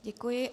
Děkuji.